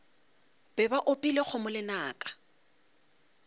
be ba opile kgomo lenaka